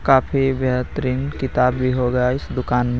काफी बेहतरीन किताब भी होगा इस दुकान में.